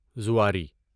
زواری